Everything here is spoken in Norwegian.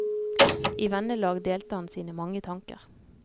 I vennelag delte han sine mange tanker.